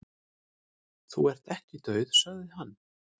"""Þú ert ekki dauð, sagði hann."""